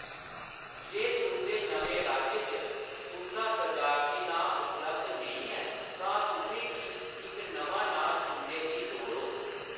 जे तुंʼदे नमें राज्य च तुंʼदा तजारती नांऽ उपलब्ध नेईं ऐ, तां तुसें गी इक नमां नांऽ चुनने दी लोड़ होग।